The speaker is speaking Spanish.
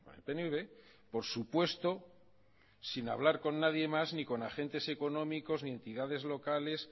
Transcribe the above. el pnv por supuesto sin hablar con nadie más ni con agentes económicos ni entidades locales